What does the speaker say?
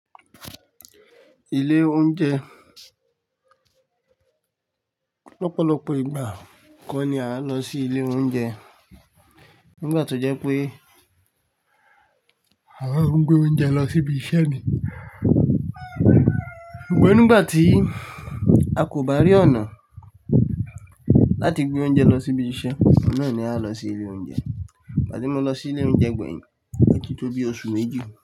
Ilé oúnjẹ, lọ́pọ̀lọ́pọ̀ ìgbà kọ́ ni a ń lọ sí ilé oúnjẹ nígbà tó jẹ́ pé a máa ń gbé oúnjẹ lọ síbi iṣẹ́ mi. Ṣùgbọ́n nígbà tí a kò bá rí ọ̀nà láti gbé oúnjẹ lọ síbi iṣẹ́, náà ni a lọ sí ilé oúnjẹ. Ìgbà tí mo lọ sí ilé oúnjẹ gbẹ̀yìn a títọ bí oṣù méjì.